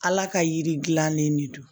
Ala ka yiri gilannen de do